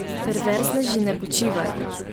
Perverzneži ne počivajo.